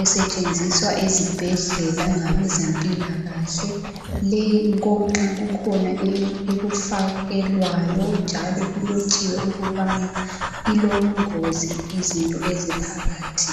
esetshenziswa ezibhedlela ngabezempilakahle leyi gonxa kukhona ekufakelwayo njalo kulotshiwe ukubana ilobungozi izinto eziphakathi.